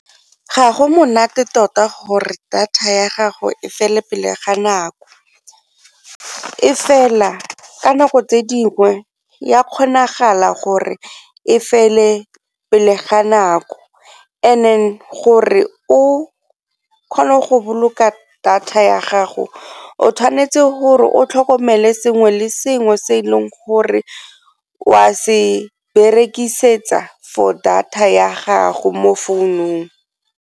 Ga go monate tota gore data ya gago e fele pele ga nako, e fela ka nako tse dingwe ya kgonagala gore e fele pele ga nako and then gore o kgone go boloka data ya gago o tshwanetse gore o tlhokomele sengwe le sengwe se e leng gore o a se berekisetsa for data ya gago mo founung.